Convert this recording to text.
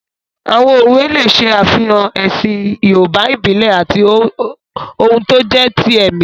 Àwọn òwe lè ṣe àfihàn ẹ̀sìn yoòbá ìbílẹ̀ àti ohun tó jẹ́ ti ẹ̀mí